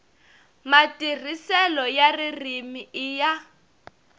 matirhiselo ya ririmi i ya